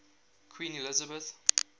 queen elizabeth